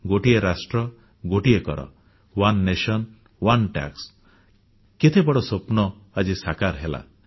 ଏକ ରାଷ୍ଟ୍ର ଏକ କର ଓନେ ନ୍ୟାସନ ଓନେ ଟାକ୍ସ କେତେବଡ଼ ସ୍ୱପ୍ନ ଆଜି ସାକାର ହେଲା